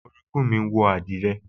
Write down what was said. Orogún mi wọ àdìrẹ